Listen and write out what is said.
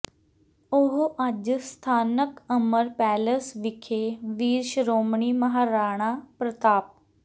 ਉਹ ਅੱਜ ਸਥਾਨਕ ਅਮਰ ਪੈਲੇਸ ਵਿਖੇ ਵੀਰ ਸ਼੍ਰੋਮਣੀ ਮਹਾਰਾਣਾ ਪ੍ਰਤਾਪ